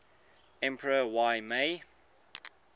emperor y mei